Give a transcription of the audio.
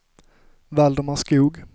Valdemar Skoog